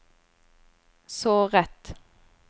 såret